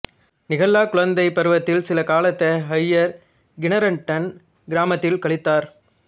Nicola குழந்தை பருவத்தில் சில காலத்தை ஹையர் கின்னெர்டன் கிராமத்தில் கழித்தார்